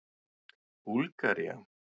Búlgaría